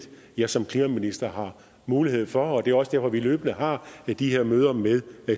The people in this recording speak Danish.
jeg som klimaminister har mulighed for og det er også derfor vi løbende har de her møder med